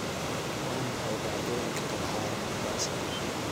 Waa maxay dhacdooyinka ka dhacaya Mombasa?